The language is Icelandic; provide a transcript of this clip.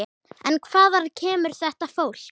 En hvaðan kemur þetta fólk?